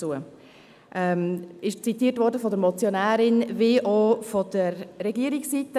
Aber ich merke, dass Sie zuhören zu.